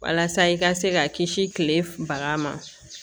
Walasa i ka se ka kisi kile baga ma